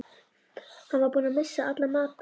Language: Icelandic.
Hann var búinn að missa alla matar